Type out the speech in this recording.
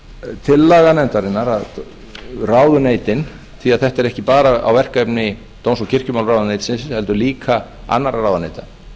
því tillaga nefndarinnar að ráðuneytin því að þetta er ekki bara verkefni dóms og kirkjumálaráðuneytisins heldur líka annarra ráðuneyta